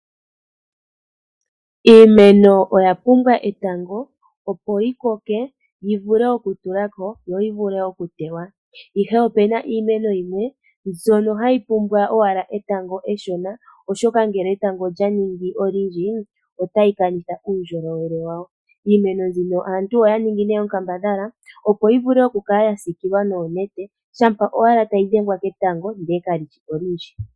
Iimeno oya pumbwa etango opo yikoke, yivule okutulako, yo yivule okutewa. Nonande oongawo, opuna iimeno yimwe mbyono hayi pumbwa owala etango eshona, oshoka ngele etango olya ningi olundji, otayi kanitha uundjolowele wawo. Iimeno mbino aantu oyaningi onkambadhala opo yi vule okukala yasiikilwa noonete, shampa owala tayi dhengwa ketango ndele kali shi olundji.